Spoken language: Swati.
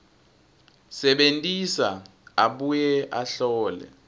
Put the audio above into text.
sebentisa abuye ahlole